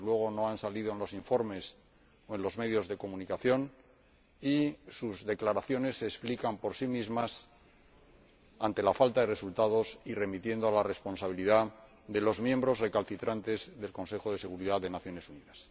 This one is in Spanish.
desde luego, no han salido en los informes o en los medios de comunicación y sus declaraciones se explican por sí mismas ante la falta de resultados y remitiendo a la responsabilidad de los miembros recalcitrantes del Consejo de Seguridad de las Naciones Unidas.